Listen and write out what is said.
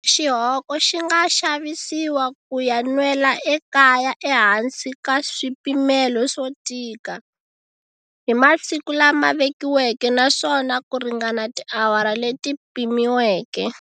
Xihoko xi nga xavisiwa ku ya nwela ekaya ehansi ka swipimelo swo tika, hi masiku lama vekiweke naswona ku ringana tiawara leti pimiweke.